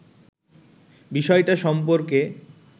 বিষয়টা সম্পর্কে